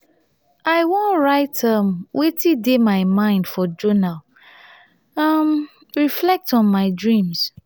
i wan write um wetin dey my mind for journal um reflect on my dreams.